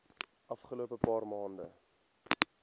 afgelope paar maande